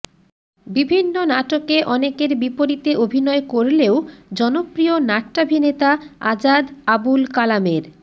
বিভিন্ন নাটকে অনেকের বিপরীতে অভিনয় করলেও জনপ্রিয় নাট্যাভিনেতা আজাদ আবুল কালামের